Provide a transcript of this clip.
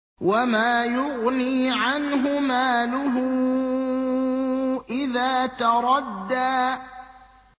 وَمَا يُغْنِي عَنْهُ مَالُهُ إِذَا تَرَدَّىٰ